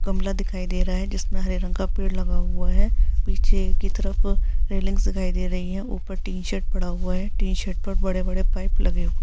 गमला दिखाई दे रहा है जिसमें हरे रंग का पेड़ लगा हुआ है पीछे की तरफ रेलिंग्स दिखाई दे रही है टी-शर्ट पड़ा हुआ है टी-शर्ट पर बड़े-बड़े पाइप लगे हुए हैं ।